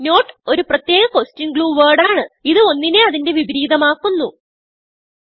not ഒരു പ്രത്യേക question glue wordആണ് ഇത് ഒന്നിനെ അതിന്റെ വിപരീതം ആക്കുന്നു